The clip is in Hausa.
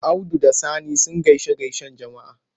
Audu da Sani sun gaishe-gaishen Juma'a.